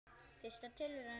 Fyrsta tilraun